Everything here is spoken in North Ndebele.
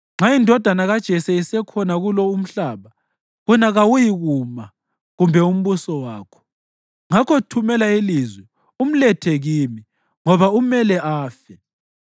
Nxa indodana kaJese isekhona kulo umhlaba, wena kawuyikuma kumbe umbuso wakho. Ngakho thumela ilizwi umlethe kimi, ngoba umele afe!”